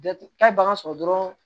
Taa bagan sɔrɔ dɔrɔn